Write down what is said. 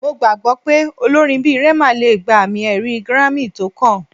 Mo gbagbọ pe olorin bi Rema le gba ami-ẹri Grammy tókàn